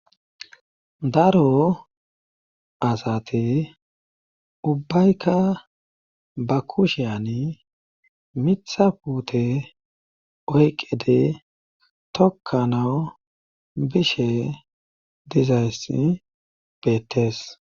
daro asati ubbayka ba kushiyani mitha puute oyqqedi tokkanawu bishe dizayssi beettes